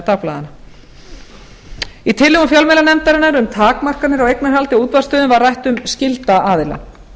dagblaðanna í tillögum fjölmiðlanefndarinnar um takmarkanir á eignarhaldi á útvarpsstöðvum var rætt um skylda aðila